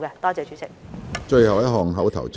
最後一項口頭質詢。